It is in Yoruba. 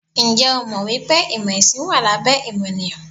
Ǹjẹ́ o jẹ́ mọ̀ wípé ìmò ẹ̀sìn wà lábẹ́ ìmọ̀nìyàn?